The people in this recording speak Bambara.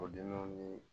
O dɛmɛw ni